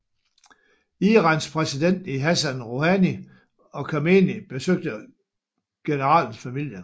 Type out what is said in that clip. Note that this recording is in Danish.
Irans præsident Hassan Rouhani og Khamenei besøgte generalens familie